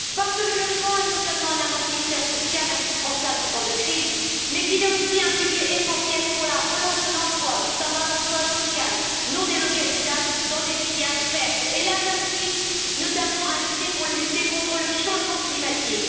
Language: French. Parce que le logement est non seulement un amortisseur social indispensable en temps de crise, mais parce qu'il est aussi un pilier essentiel pour la relance de l'emploi, notamment l'emploi local, non délocalisable dans des filières vertes et là, j'insiste notamment, un levier pour lutter contre le changement climatique.